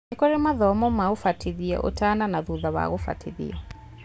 Nĩkũrĩ mathomo ma ũbatithio ũtana na thutha wa gũbatithio